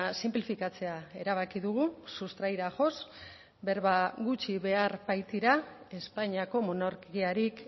sinplifikatzea erabaki dugu sustraira joz berba gutxi behar baitira espainiako monarkiarik